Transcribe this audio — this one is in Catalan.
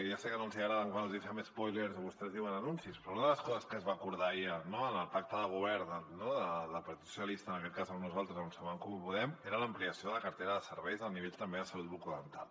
ja sé que no els hi agrada quan els hi fem espòilers o vostès en diuen anuncis però una de les coses que es va acordar ahir en el pacte de govern del partit dels socialistes en aquest cas amb nosaltres amb en comú podem era l’ampliació de la cartera de serveis a nivell també de salut bucodental